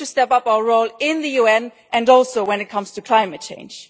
We need to step up our role in the UN and also when it comes to climate change.